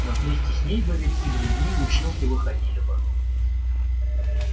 но вместе с ней бы ведь и другие училки выходили бы